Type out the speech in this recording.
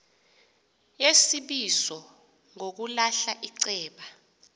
yesibizo ngokulahla iceba